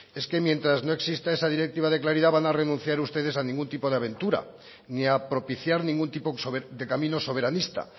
es que mientras no exista esa directiva de claridad van a renunciar ustedes a ningún tipo de aventura ni a propiciar ningún tipo de camino soberanista